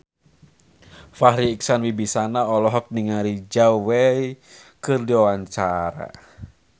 Farri Icksan Wibisana olohok ningali Zhao Wei keur diwawancara